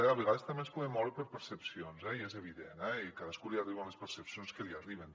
a vegades també ens podem moure per percepcions eh i és evident i a cadascú li arriben les percepcions que li arriben